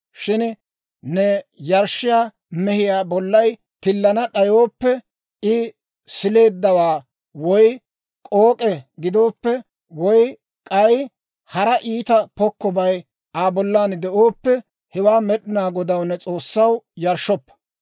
Shin ne yarshshiyaa mehiyaa bollay tillana d'ayooppe, I sileeddawaa woy k'ook'e gidooppe, woy k'ay hara iita pokkobay Aa bollan de'ooppe, hewaa Med'inaa Godaw, ne S'oossaw, yarshshoppa.